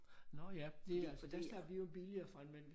Nåh ja det øh der slap vi jo billigere fra det men